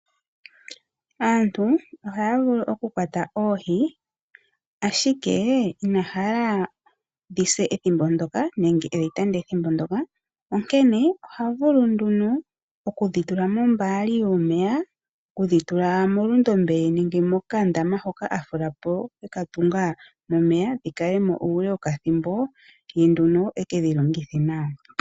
Aantu ohaya vulu oku kwata oohi ashike ina hala dhi se ethimbo ndyoko nenge e dhi tande ethimbo ndyoka onkene oha vulu nduno okudhi tula mombaali yomeya, okudhi tula molundombe nenge mokandama hoka a fula po, eka tunga, momeya dhi kale mo uule wokathimbo ye nduno ekedhilongithe nawa.